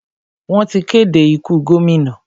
Wọ́n ti kéde ikú gómìnà.